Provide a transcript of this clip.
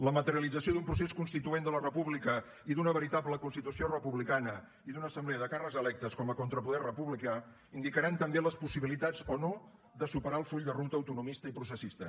la materialització d’un procés constituent de la república i d’una veritable constitució republicana i d’una assemblea de càrrecs electes com a contrapoder republicà indicaran també les possibilitats o no de superar el full de ruta autonomista i processista